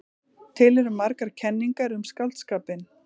Til eru margar kenningar um skáldskapinn.